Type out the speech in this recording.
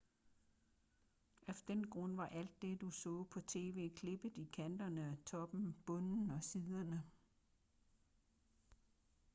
af den grund var alt det du så på tv klippet i kanterne toppen bunden og siderne